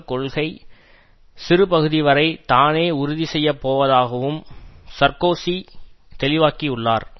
கொள்கை சிறு பகுதி வரை தானே உறுதிசெய்யப் போவதாகவும் சார்க்கோசி தெளிவாக்கியுள்ளார்